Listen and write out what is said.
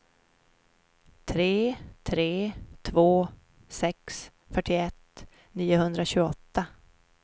tre tre två sex fyrtioett niohundratjugoåtta